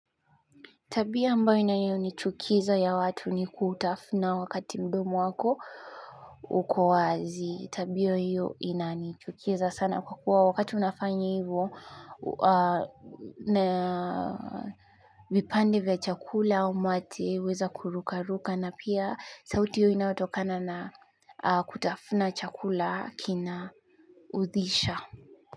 Tabia ambayo inayonichukiza ya watu ni kutafuna wakati mdomu wako uko wazi. Tabio hiyo inanichukiza sana kwa kuwa wakati unafanya hivyo na vipande vya chakula au mate huweza kurukaruka na pia sauti hiyo inayotokana na kutafuna chakula kinaudhisha.